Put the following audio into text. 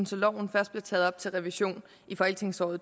så loven først bliver taget op til revision i folketingsåret